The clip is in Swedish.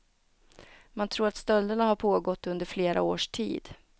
Man tror att stölderna har pågått under flera års tid.